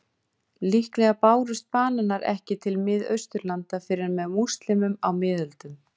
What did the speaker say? Líklega bárust bananar ekki til Miðausturlanda fyrr en með múslímum á miðöldum.